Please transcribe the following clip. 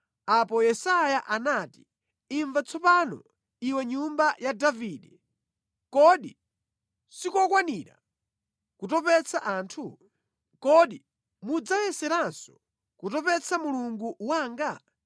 Apo Yesaya anati, “Imva tsopano, iwe nyumba ya Davide! Kodi sikokwanira kutopetsa anthu? Kodi mudzayeseranso kutopetsa Mulungu wanga?